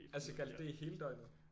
Altså gjaldt det i hele døgnet